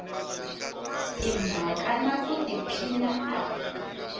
timhaka na ku tiphina a